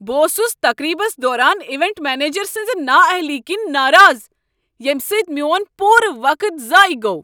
بہٕ اوسس تقریبس دوران ایوینٹ منیجر سٕنزِ نا اہلی كِنۍ ناراض ییمِہ سۭتۍ میون پورٕ وقت ضایع گوٚو۔